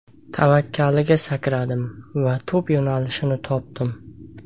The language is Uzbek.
Tavakkaliga sakradim va to‘p yo‘nalishini topdim.